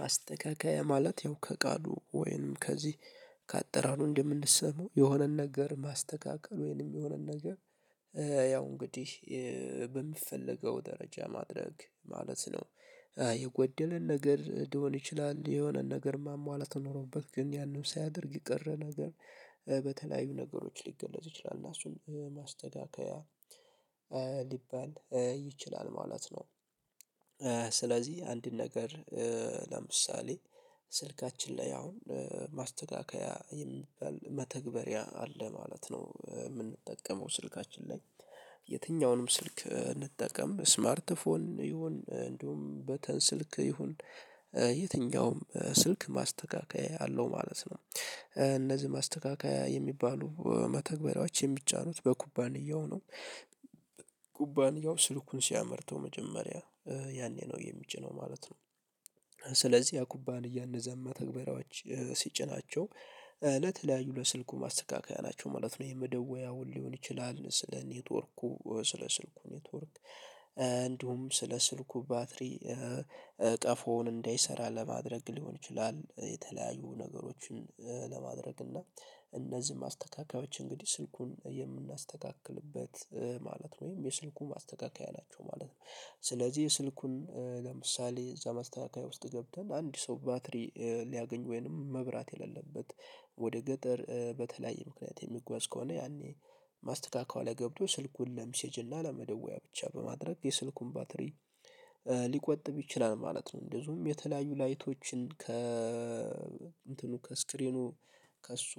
ማስተካከያ ማለት ያው ከቃሉ ወይንም ከዚህ ካጠራሩ እንደምንሰማው የሆነን ነገር ማስተካከል ወይንም የሆነን ነገር ያው እንግዲህ በሚፈለገው ደረጃ ማድረግ ማለት ነው። የጎደለን ነገር ሊሆን ይችላል የሆነን ነገር ማሟላት ኖሮበት ግን ያንን ሳያደርግ የቀረ ነገር። በተለያዩ ነገሮች ሊገለጽ ይችላል እና እሱን ማስተካከያ ሊባል ይችላል ማለት ነው። ስለዚህ አንድን ነገር ለምሳሌ ስልካችን ላይ አሁን ማስተካከያ የሚባል መተግበሪያ አለ ማለት ነው የምንጠቀመው ስልካችን ላይ። የትኛውንም ስልክ እንጠቀም ስማርት ፎን ይሁን እንደውም በተን ስልክ ይሁን። የትኛውም ስልክ ማስተካከያ ያለው ማለት ነው እነዚህ ማስተካከያ የሚባሉ መተግበሪያዎች የሚጫኑት በኩባንያው ነው። ኩባንያው ስልኩን ሲያመርተው መጀመሪያ ያኔ ነው የሚጭነው ማለት ነው። ያ ኩባንያ እነዛን መተግበሪያዎች ሲጭናቸው ለተለያዩ ለስልኩ ማስተካከያ ናቸው ማለት ነው። የመደወያውን ሊሆን ይችላል ስለ ኔትወርኩ ስለ ስልኩ ኔትወርክ። እንዲሁም ስለ ስልኩ ባትሪ ቀፎውን እንዳይሰራ ለማድረግ ሊሆን ይችላል። የተለያዩ ነገሮችን ለማድረግ እና እነዚህን ማስተካከያዎች እንግዲህ ስልኩን የምናስተካክልበት ማለት ነው ወይም የስልኩ ማስተካከያ ናቸው ማለት ነው። ስለዚህ ስልኩን ለምሳሌ እዛ ማስተካከያ ውስጥ ገብተን አንድ ሰው ባትሪ ሊያገኝ ወይንም መብራት የሌለበት። ወደ ገጠር በተለያየ ምክንያት የሚጓዝ ከሆነ ያኔ ማስተካከው ላይ ገብቶ ስልኩን ለምሴጅ እና ለመደወያ ብቻ በማድረግ የስልኩን ባትሪ ሊቆጥብ ይችላል ማለት ነው። እንደዚሁም የተለያዩ ላይቶችን ከ እንትኑ ከስክሪኑ ከእሱ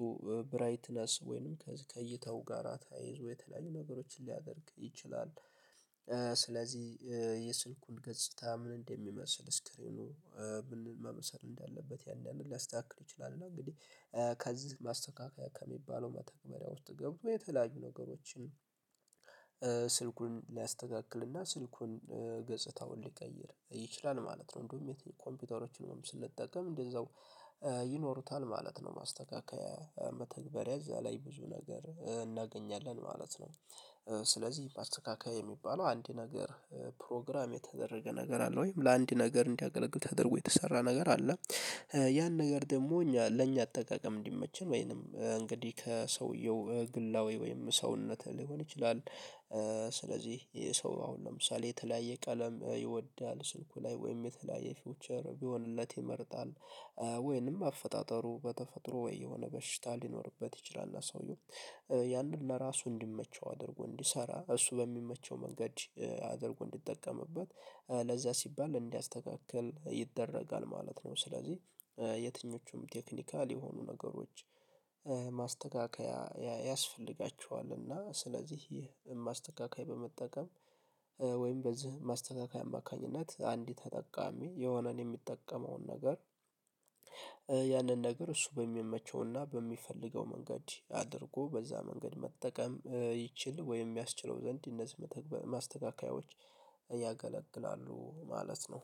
ብራይትነስ ወይንም ከእይታው ጋራ ተያይዞ የተለያዩ ነገሮችን ሊያደርግ ይችላል። ስለዚህ የስልኩን ገጽታ ምን እንደሚመስል ስክሪኑ ምን መምሰል እንዳለበት ያን ያን ሊያስተካክል ይችላል። እና እንግዲህ ከዚህ ማስተካከያ ከሚባለው መተግበሪያ ውስጥ ገብቶ የተለያዩ ነገሮችን ስልኩን ሊያስተካክልና ስልኩን ገጽታውን ሊቀይር ይችላል ማለት ነው። እንደውም ኮምፒውተሮችን ስንጠቀም እንደዛው ይኖሩታል ማለት ነው። ማስተካከያ መተግበሪያ እዛ ላይ ብዙ ነገር እናገኛለን ማለት ነው። ስለዚህ ማስተካካያ የሚባለው አንድ ነገር ፕሮግራም የተደረገ ነገር አለ ወይም ለአንድ ነገር እንዲያገለግል ተደርጎ የተሰራ ነገር አለ። ያን ነገር ደግሞ እኛ ለእኛ አጠቃቀም እንዲመችን ወይንም እንግዲህ ከሰውየው ግላዊ ወይም ሰውነት ሊሆን ይችላል። ስለዚህ ይሄ ሰው አሁን ለምሳሌ የተለያየ ቀለም ይወዳል ስልኩ ላይ ወይም የተለያየ ፊውቸር ቢሆንለት ይመርጣል። ወይንም አፈጣጠሩ በተፈጥሮ ወይ የሆነ በሽታ ሊኖርበት ይችላል። ሰዉየው ያንን ለራሱ እንዲመቸው አድርጎ እንዲሰራ እሱ በሚመቸው መንገድ አድርጎ እንዲጠቀምበት ለዚያ ሲባል እንዲያስተካክል ይደረጋል ማለት ነው። ስለዚህ የትኞቹም ቴክኒካል የሆኑ ነገሮች ማስተካከያ ያስፈልጋቸዋል። እና ስለዚህ ይህ ማስተካከያ በመጠቀም ወይም በዚህ ማስተካከያ አማካኝነት አንድ ተጠቃሚ የሆነን የሚጠቀመውን ነገር ያንን ነገር እሱ በሚመቸውና በሚፈልገው መንገድ አድርጎ በዛ መንገድ መጠቀም ይችል ወይም ያስችለው ዘንድ እነዚህ ማስተካከያዎች። ያገለግላሉ ማለት ነው።